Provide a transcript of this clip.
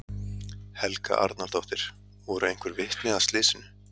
Helga Arnardóttir: Voru einhver vitni að slysinu?